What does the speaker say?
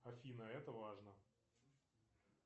афина это важно